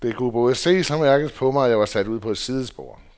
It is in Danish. Det kunne både ses og mærkes på mig, at jeg var sat ud på et sidespor.